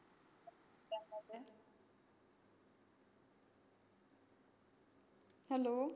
hello